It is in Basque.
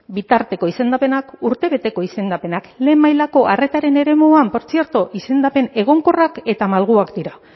bitarteko izendapenak urtebeteko izendapenak lehen mailako arretaren eremuan portzierto izendapen egonkorrak eta malguak dira